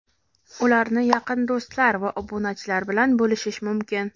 Ularni "yaqin do‘stlar" va obunachilar bilan bo‘lishish mumkin.